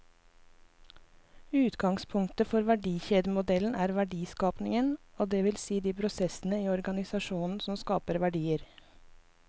Utgangspunktet for verdikjedemodellen er verdiskapingen, det vil si de prosessene i organisasjonen som skaper verdier.